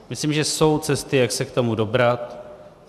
Myslím, že jsou cesty, jak se k tomu dobrat.